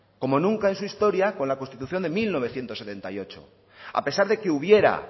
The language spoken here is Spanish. como nunca en historia con la constitución de mil novecientos setenta y ocho a pesar de que hubiera